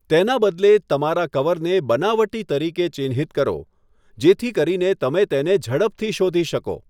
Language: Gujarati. તેના બદલે, તમારા કવરને 'બનાવટી' તરીકે ચિહ્નિત કરો જેથી કરીને તમે તેને ઝડપથી શોધી શકો.